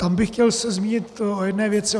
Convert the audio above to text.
Tam bych se chtěl zmínit o jedné věci.